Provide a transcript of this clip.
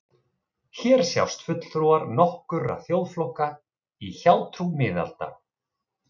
Hér sjást fulltrúar nokkurra þjóðflokka í hjátrú miðalda.